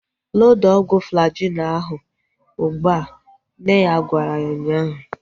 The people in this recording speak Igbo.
Loda ọgwụ Flajil ahu ụgbụa! Nne ya gwara ya ụnyaahụ